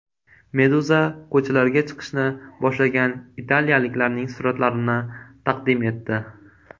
Meduza ko‘chalarga chiqishni boshlagan italiyaliklarning suratlarini taqdim etdi .